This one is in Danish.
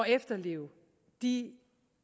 efterleve de